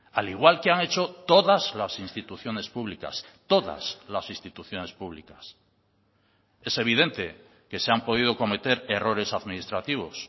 al igual que han hecho todas las instituciones públicas todas las instituciones públicas es evidente que se han podido cometer errores administrativos